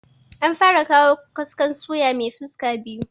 An fara kawo kaskon suya mai fuska biyu